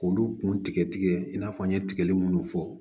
K'olu kun tigɛ tigɛ i n'a fɔ n ye tigɛli minnu fɔ